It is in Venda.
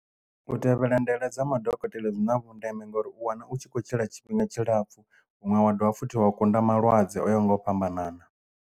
U tevhela ndaela dza madokotela dzi na vhundeme ngauri u wana u tshi khou tshila tshifhinga tshilapfu vhuṅwe wa dovha futhi wa kunda malwadze o ya ho nga u fhambanana.